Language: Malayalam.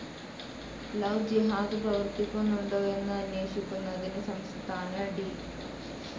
ലവ്‌ ജിഹാദ്‌ പ്രവർത്തിക്കുന്നുണ്ടോ എന്ന് അന്വേഷിക്കുന്നതിന് സംസ്ഥാന ഡി.